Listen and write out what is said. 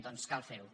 doncs cal fer ho